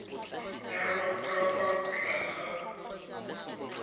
nyalwa ka fa tlase ga